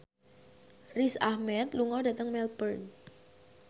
Riz Ahmed lunga dhateng Melbourne